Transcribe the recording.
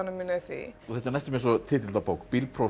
mína í því þetta er næstum eins og titill á bók